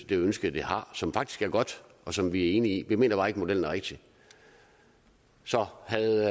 det ønske de har som faktisk er godt og som vi er enige i vi mener bare ikke modellen er rigtig så havde